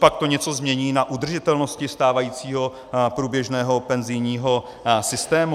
Copak to něco změní na udržitelnosti stávajícího průběžného penzijního systému?